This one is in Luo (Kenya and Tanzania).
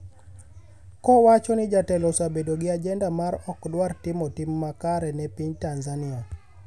kowacho ni jatelo osebedo gi ajenda ma okdwar timo tim makare ne piny Tanzania